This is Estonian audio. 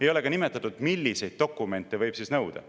Ei ole ka nimetatud, milliseid dokumente võib nõuda.